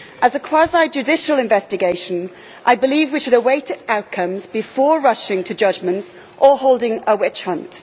As a quasi judicial investigation, I believe we should await its outcome before rushing to judgments or holding a witch hunt.